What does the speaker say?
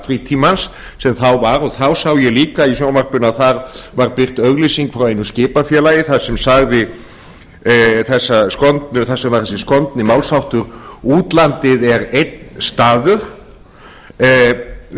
frítímans sem þá var og þá sá ég líka í sjónvarpinu að þar var birt auglýsing frá einu skipafélagi þar sem var þessi skondni málsháttur útlandið er einn staður þetta